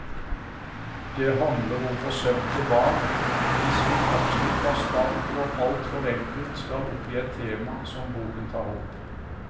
Det handler om forsømte barn, hvis vi absolutt bastant og alt for enkelt skal oppgi et tema som boken tar opp.